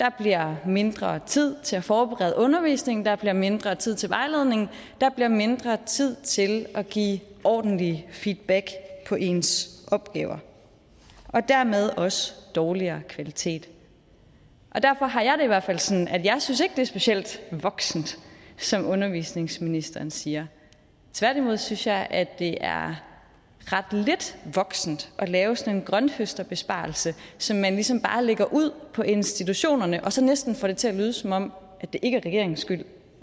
der bliver mindre tid til at forberede undervisningen der bliver mindre tid til vejledning der bliver mindre tid til at give ordentlige feedback på ens opgaver og dermed også dårligere kvalitet derfor har jeg det i hvert fald sådan at jeg ikke synes det er specielt voksent som undervisningsministeren siger tværtimod synes jeg at det er ret lidt voksent at lave sådan en grønthøsterbesparelse som man ligesom bare lægger ud på institutionerne og så næsten får det til at lyde som om det ikke er regeringens skyld